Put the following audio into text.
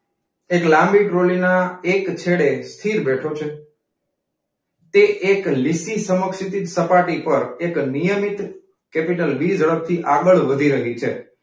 એક લાંબી ટ્રોલીના એક છેડે સ્થિર બેઠો છે. તે એક લીસી સમક્ષિતિજ સપાટી પર નિયમિત કેપિટલ વી ઝડપથી આગળ વધી રહી છે.